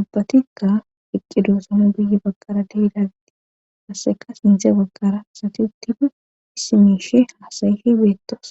ubbatikka iqqi duosama guye bagqarade hidagiti qasseka sindze bagkara isati uttidu issimiishe haasayife beettoos